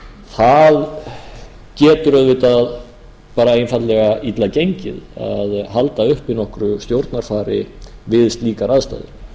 það getur auðvitað bara einfaldlega illa gengið að halda uppi nokkru stjórnarfari við slíkar aðstæður